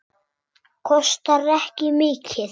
Kostar ekki mikið.